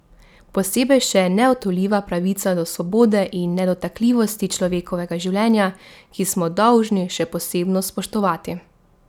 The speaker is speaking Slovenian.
Posebej še neodtujljiva pravica do svobode in nedotakljivosti človekovega življenja, ki smo jo dolžni še posebno spoštovati.